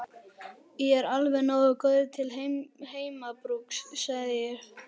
Ég er alveg nógu góður til heimabrúks, segi ég.